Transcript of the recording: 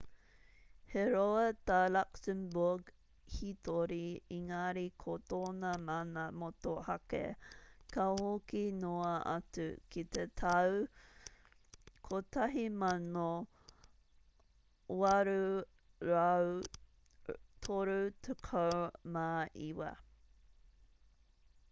he roa tā luxembourg hītori engari ko tōna mana motuhake ka hoki noa atu ki te tau 1839